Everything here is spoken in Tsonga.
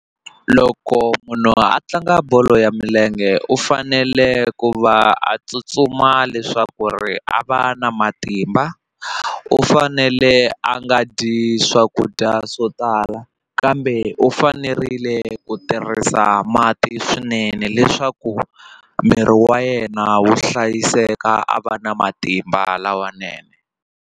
Loko munhu a tlanga bolo ya milenge u fanele ku va a tsutsuma leswaku ri a va na matimba u fanele a nga dyi swakudya swo tala kambe u fanerile ku tirhisa mati swinene leswaku miri wa yena wu hlayiseka a va na matimba lawanene.